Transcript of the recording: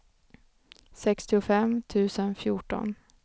sextiofem tusen fjorton